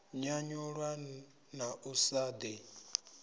nyanyulwa na u sa ḓi